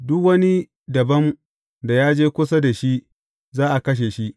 Duk wani dabam da ya je kusa da shi za a kashe shi.